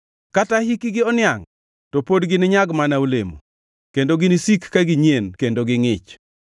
Kata hikgi oniangʼ to pod gininyag mana olemo, kendo ginisik ka ginyien kendo gingʼich,